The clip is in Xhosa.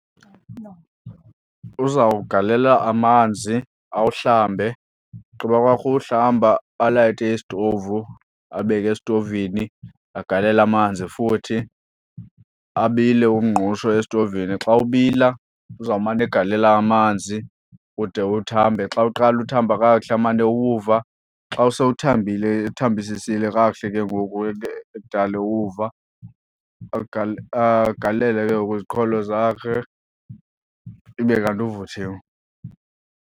Uzawugalela amanzi awuhlambe. Ugqiba kwakhe uwuhlamba alayite isitovu, abeke esitovini. Agalele amanzi futhi abile umngqusho esitovini. Xa ubila uzawumane egalela amanzi ude uthambe. Xa uqala uthamba kakuhle amane ewuva. Xa sowuthambile ethambisisile kakuhle ke ngoku ekudala ewuva agalele ke ngoku iziqholo zakhe ibe kanti uvuthiwe.